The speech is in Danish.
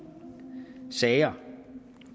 sager